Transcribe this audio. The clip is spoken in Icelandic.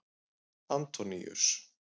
Antoníus